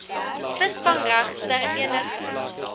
visvangreg ter eniger